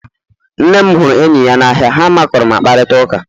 Nne m huru enyi ya n'ahịa ha makụrụ ma kparịta ụka